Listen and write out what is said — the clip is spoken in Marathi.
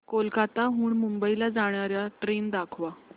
कोलकाता हून मुंबई ला जाणार्या ट्रेन दाखवा